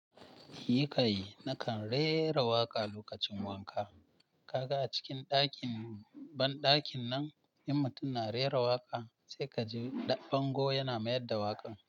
Yi kai, na kan rera waƙa lokacin wanka. Kaga a cikin banɗakin nan in mutum na rera waƙa, sai ka ji ɗan bango yana mayar da waƙan.